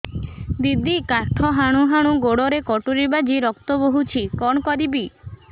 ଦିଦି କାଠ ହାଣୁ ହାଣୁ ଗୋଡରେ କଟୁରୀ ବାଜି ରକ୍ତ ବୋହୁଛି କଣ କରିବି